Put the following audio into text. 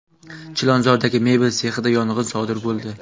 Chilonzordagi mebel sexida yong‘in sodir bo‘ldi.